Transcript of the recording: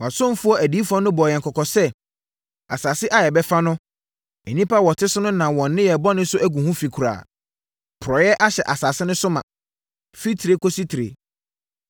Wʼasomfoɔ adiyifoɔ no bɔɔ yɛn kɔkɔ sɛ, asase a yɛbɛfa no, nnipa a wɔte so no nam wɔn nneyɛɛ bɔne so agu ho fi koraa. Porɔeɛ ahyɛ asase no so ma, firi tire kɔsi tire.